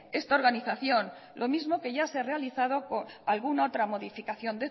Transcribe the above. esta organización lo mismo que ya se ha realizado alguna otra modificación